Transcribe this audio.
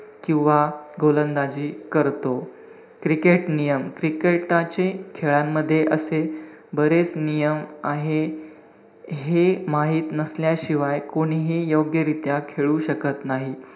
किंवा गोलंदाजी करतो. cricket नियम, cricket चे खेळामध्ये असे बरेच नियम आहे. हे माहित नसल्याशिवाय कोणीही योग्यरीत्या खेळू शकत नाही.